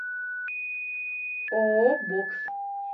ооо бокс